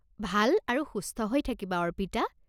ভাল আৰু সুস্থ হৈ থাকিবা অৰ্পিতা৷